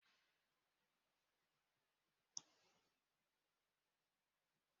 Radiato kwụsịrị ịrụ ọrụ kemgbe awa abụọ gara aga